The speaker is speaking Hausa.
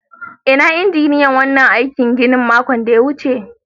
Inna injiniyan wannan aikin ginin a makon da ta wuce?